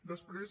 després